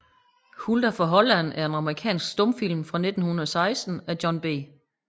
Hulda fra Holland er en amerikansk stumfilm fra 1916 af John B